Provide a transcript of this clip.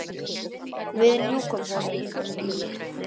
Við ljúkum honum.